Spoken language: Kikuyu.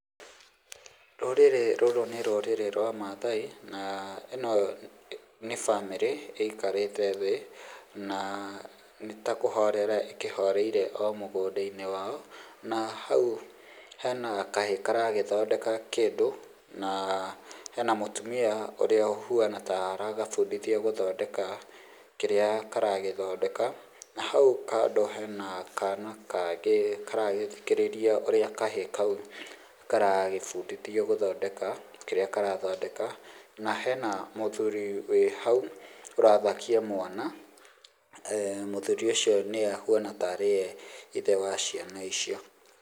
Rũrĩrĩ rũrũ nĩ rũrĩrĩ rwa mathai na ĩno nĩ bamĩrĩ ĩkarĩte thĩ na ĩtakũhorera ĩkĩhoreire o mũgũnda-inĩ wa o, na hau he na kahĩ karagĩthondeka kĩndũ na he na mũtũmia ũrĩa ũhũana taragabundithia gũthondeka kĩrĩa karagĩthondeka. Na hau kando he na kana kangĩ karagĩthikĩrĩria ũrĩa kahĩ kau karagĩbundithio gũthondeka kĩrĩa karathondeka. Na hena mũthuri we hau ũrathakia mwana, mũthuri ũcio nĩwe ũhuana tarĩ we ithe wa ciana icio.